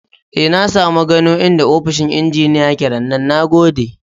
E, na samu gano inda ofishin injiniya ya ke rannan. Na gode.